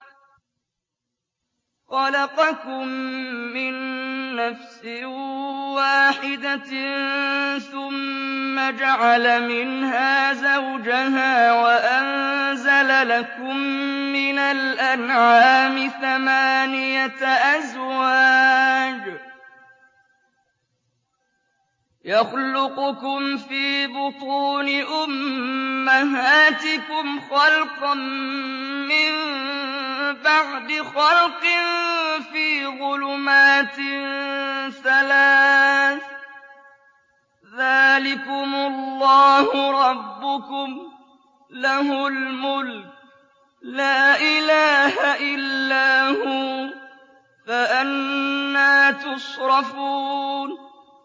خَلَقَكُم مِّن نَّفْسٍ وَاحِدَةٍ ثُمَّ جَعَلَ مِنْهَا زَوْجَهَا وَأَنزَلَ لَكُم مِّنَ الْأَنْعَامِ ثَمَانِيَةَ أَزْوَاجٍ ۚ يَخْلُقُكُمْ فِي بُطُونِ أُمَّهَاتِكُمْ خَلْقًا مِّن بَعْدِ خَلْقٍ فِي ظُلُمَاتٍ ثَلَاثٍ ۚ ذَٰلِكُمُ اللَّهُ رَبُّكُمْ لَهُ الْمُلْكُ ۖ لَا إِلَٰهَ إِلَّا هُوَ ۖ فَأَنَّىٰ تُصْرَفُونَ